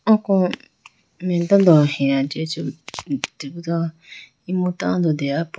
Oko mai tando heya jiya chibo imu tando deya po.